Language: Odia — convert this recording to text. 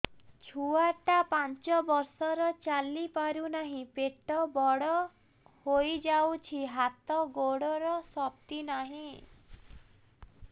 ଛୁଆଟା ପାଞ୍ଚ ବର୍ଷର ଚାଲି ପାରୁନାହଁ ପେଟ ବଡ ହୋଇ ଯାଉଛି ହାତ ଗୋଡ଼ର ଶକ୍ତି ନାହିଁ